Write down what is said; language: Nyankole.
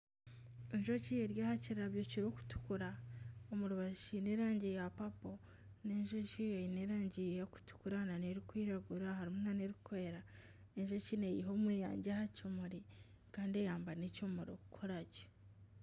Enjoki eri aha kirabyo kirikutukura omurubaju kiine erangi ya papo n'enjoki Eine erangi erikutukura nana erikwiragura harimu nana erikwera enjoki neyiha omweyangye aha kimuri Kandi eyambe n'ekimuri okukuragye.